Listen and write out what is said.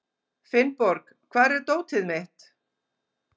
Finnborg, hvar er dótið mitt?